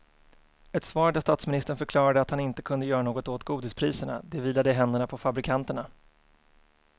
Ett svar där statsministern förklarade att han inte kunde göra något åt godispriserna, det vilade i händerna på fabrikanterna.